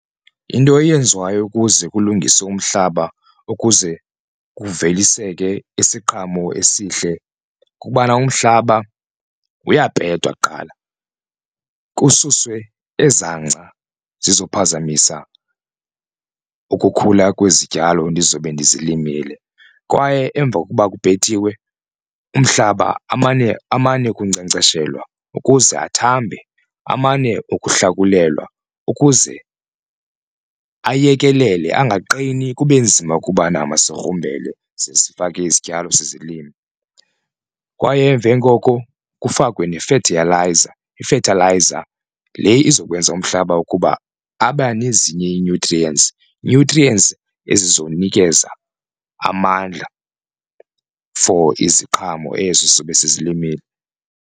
Into eyenziwayo ukuze kulungiswe umhlaba ukuze kuveliseke isiqhamo esihle kukubana umhlaba uyapetwa kuqala kususwe eza ngca zizophazamisa ukukhula kwezityalo ndizobe ndizilimile. Kwaye emva kokuba kupetiwe umhlaba amane amane ukunkcenkceshelwa ukuze athambe amane ukuhlakulwa ukuze ayekelele angaqini kube nzima ukubana masigrumbele size sifake izityalo size silime. Kwaye emveni koko kufakwe ne-fertilizer i-fethelayiza le izokwenza umhlaba ukuba abanezinye ii-nutrients nutrients ezizonikeza amandla for iziqhamo ezo sizobe sizilimile.